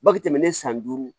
Bange tɛmɛnen san duuru